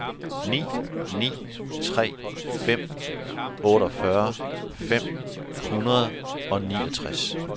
ni ni tre fem otteogfyrre fem hundrede og niogtres